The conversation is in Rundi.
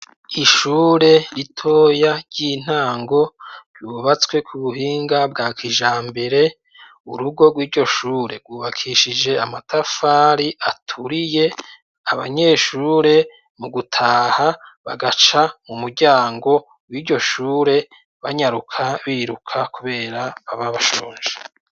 Ishure ritoya ry'intango, ryubatswe ku buhinga bwa kijambere, urugo rw'iryoshure rwubakishije amatafari aturiye, abanyeshure, mu gutaha, bagaca mu muryango w'iryo shure, banyaruka, biruka, kubera baba bashonje.